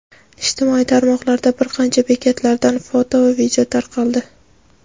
Ijtimoiy tarmoqlarda bir qancha bekatlardan foto va video tarqaldi.